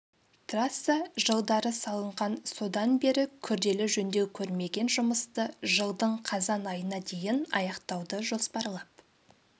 трасса жылдары салынған содан бері күрделі жөндеу көрмеген жұмысты жылдың қазан айына дейін аяқтауды жоспарлап